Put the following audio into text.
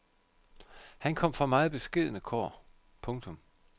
Han kom fra meget beskedne kår. punktum